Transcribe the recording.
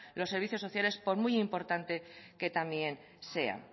los servicios sociales por muy importante que también sea